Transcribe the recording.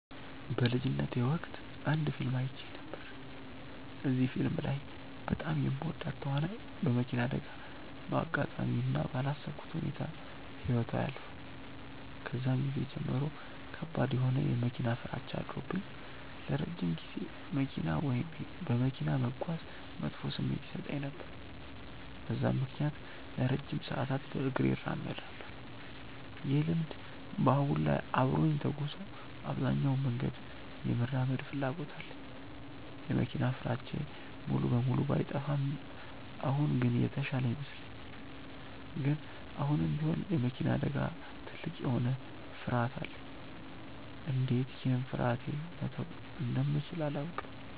በልጅነቴ ወቅት አንድ ፊልም አይቼ ነበር። እዚህ ፊልም ላይ በጣም የምወዳት ተዋናይ በመኪና አደጋ በአጋጣሚ እና ባላሰብኩት ሁኔታ ህይወቷ ያልፋል። ከዛን ጊዜ ጀምሮ ከባድ የሆነ የመኪና ፍራቻ አድሮብኝ ለረጅም ጊዜ መኪና ወይም በመኪና መጓዝ መጥፎ ስሜት ይሰጠኝ ነበር። በዛም ምክንያት ለረጅም ሰዓታት በእግሬ እራመድ ነበር። ይህ ልምድ በአሁን ላይ አብሮኝ ተጉዞ አብዛኛውን መንገድ የመራመድ ፍላጎት አለኝ። የመኪና ፍራቻዬ ሙሉ በሙሉ ባይጠፋም አሁን ግን የተሻለ ይመስለኛል። ግን አሁንም ቢሆን የመኪና አደጋ ትልቅ የሆነ ፍርሀት አለኝ። እንዴት ይህን ፍርሀቴ መተው እንደምችል አላውቅም።